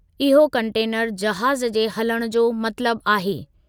इहो कंटेनर जहाज़ु जे हलणु जो मतलबु आहे